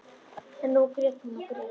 En nú grét hún og grét.